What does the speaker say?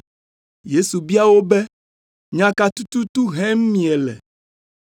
Yesu bia wo be, “Nya ka tututu hem miele?”